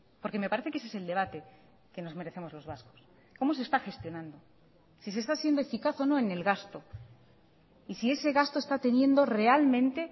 porque me parece que ese es el debate que nos merecemos los vascos cómo se está gestionando si se está siendo eficaz o no en el gasto y si ese gasto está teniendo realmente